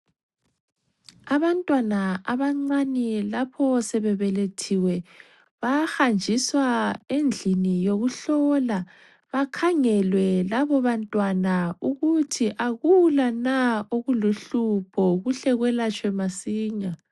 Abantwana abancane lapho sebebelethiwe bayahanjiswa endlini yokuhlolwa bakhangelwe labo bantwana ukuthi akula na okuluhlupho kuhle kwelatshwe masinya.